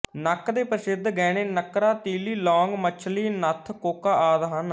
ਨੱਕ ਦੇ ਪ੍ਰਸਿੱਧ ਗਹਿਣੇ ਨੱਕਰਾ ਤੀਲੀ ਲੌਂਗ ਮੱਛਲੀ ਨੱਥ ਕੋਕਾ ਆਦਿ ਹਨ